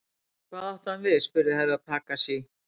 Hvað átti hann við spurði Herra Takashi.